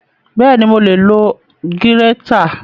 Bẹ́ẹ̀ni, mo lè lo gírétà